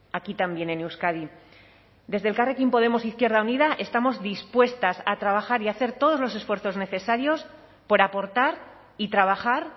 aquí también en euskadi desde elkarrekin podemos e izquierda unida estamos dispuestas a trabajar y a hacer todos los esfuerzos necesarios por aportar y trabajar